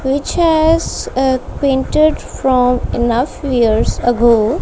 which has a painted from enough years ago.